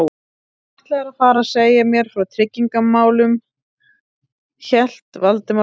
Þú ætlaðir að fara að segja mér frá tryggingamálunum- hélt Valdimar áfram.